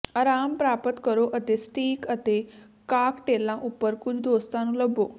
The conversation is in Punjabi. ਆਰਾਮ ਪ੍ਰਾਪਤ ਕਰੋ ਅਤੇ ਸਟੀਕ ਅਤੇ ਕਾਕਟੇਲਾਂ ਉੱਪਰ ਕੁਝ ਦੋਸਤਾਂ ਨੂੰ ਲੱਭੋ